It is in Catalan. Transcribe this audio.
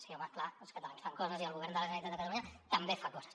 sí home clar els catalans fan coses i el govern de la generalitat de catalunya també fa coses